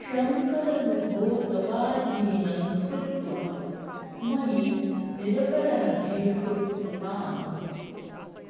शङ्कर विभो तवाधीनं कृत्वा मयि निरपराधे कुरु कृपाम्